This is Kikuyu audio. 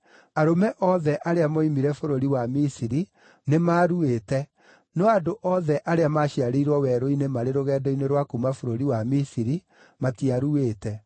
Arũme othe arĩa mooimire bũrũri wa Misiri nĩmaruĩte, no andũ othe arĩa maaciarĩirwo werũ-inĩ marĩ rũgendo-inĩ rwa kuuma bũrũri wa Misiri matiaruĩte.